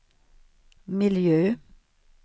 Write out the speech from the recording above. miljö